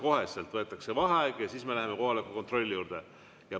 Kohe võetakse vaheaeg ja siis me läheme kohaloleku kontrolli juurde.